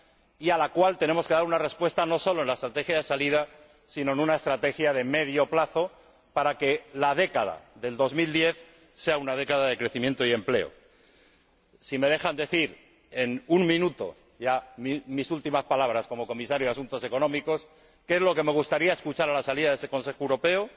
y a la cual tenemos que dar una respuesta, no solo en la estrategia de salida, sino en una estrategia de medio plazo para que la década del 2010 sea una década de crecimiento y empleo. Si me dejan decir en un minuto ya mis últimas palabras como Comisario de Asuntos Económicos y Monetarios, ¿qué es lo que me gustaría escuchar a la salida de ese Consejo Europeo?